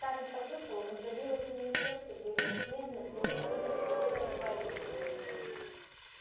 скарлетт почувствовала как забилось у неё сердце при нежных меланхолических звуках вальса